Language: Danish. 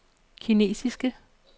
kinesiske